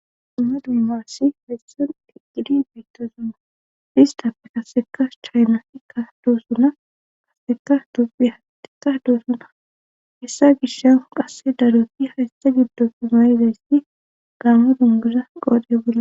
Dumma duumassi hayssan ijidi beytto suma istappe kaseka chaynasikka doosuna kaseka dophihaka doosuna hessa gishan qasse daroti hayssa giddo pi mayizayssi gaama dunguza qoodhe bola.